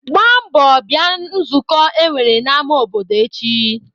Gbaa mbọ bịa nzukọ e nwere n'ama obodo echi!